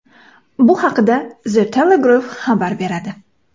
Bu haqda The Telegraph xabar beradi.